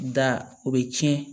Da o bɛ tiɲɛ